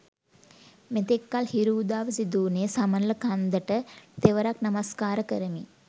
මෙතෙක්කල් හිරු උදාව සිදුවුණේ සමනල කන්දට තෙවරක් නමස්කාර කරමින්.